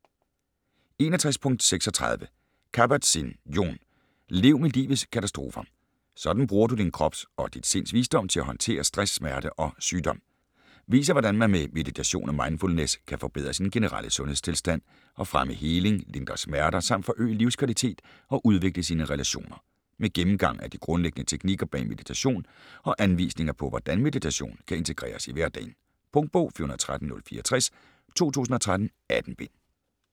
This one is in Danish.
61.36 Kabat-Zinn, Jon: Lev med livets katastrofer: sådan bruger du din krops og dit sinds visdom til at håndtere stress, smerte og sygdom Viser hvordan man med meditation og mindfulness kan forbedre sin generelle sundhedstilstand, og fremme heling, lindre smerter samt forøge livskvalitet og udvikle sine relationer. Med gennemgang af de grundlæggende teknikker bag meditation og anvisninger på hvordan meditation kan integreres i hverdagen. Punktbog 413064 2013. 18 bind.